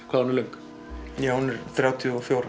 hvað hún er löng ja hún er þrjátíu og fjögur